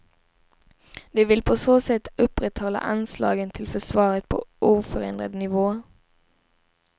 De vill på så sätt upprätthålla anslagen till försvaret på oförändrad nivå.